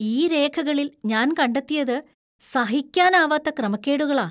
ഈ രേഖകളിൽ ഞാൻ കണ്ടെത്തിയത് സഹിക്കാനാവാത്ത ക്രമക്കേടുകളാ!